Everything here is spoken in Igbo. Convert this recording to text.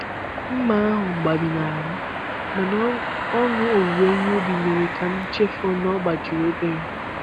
Mma ahụ gbajinahara m, mana ọṅụ owuwe ihe ubi mere ka m chefuo na ọ gbajiri obere.